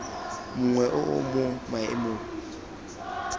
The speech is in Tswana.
mongwe o o mo maemong